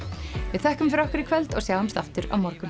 við þökkum fyrir okkur í kvöld og sjáumst aftur á morgun